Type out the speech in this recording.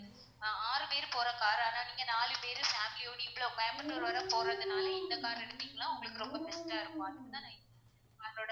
ஆஹ் ஆறு பேரு போற car ரா தான் நீங்க நாலு பேரு family யோட இவ்வளோ கோயம்புத்தூர் வரை போறதுனால இந்த car எடுத்திங்கன்னா உங்களுக்கு ரொம்ப best டா இருக்கும் அதுக்குதான் அதோட